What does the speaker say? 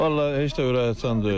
Vallah heç də ürə açan deyil.